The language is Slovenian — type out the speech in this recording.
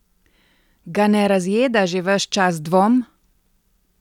Ga ne razjeda že ves čas dvom?